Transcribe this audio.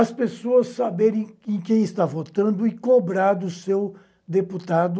As pessoas saberem em quem está votando e cobrar do seu deputado.